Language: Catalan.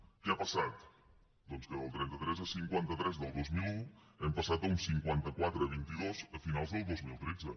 què ha passat doncs que del trenta tres a cinquanta tres del dos mil un hem passat a un cinquanta quatre vint dos a finals del dos mil tretze